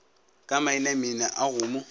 ka mainaina a go mo